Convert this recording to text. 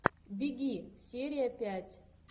беги серия пять